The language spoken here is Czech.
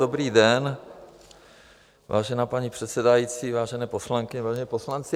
Dobrý den, vážená paní předsedající, vážení poslankyně, vážení poslanci.